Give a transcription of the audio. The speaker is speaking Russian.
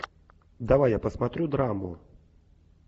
давай я посмотрю драму